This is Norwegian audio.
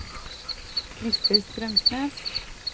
Christer Strømsnes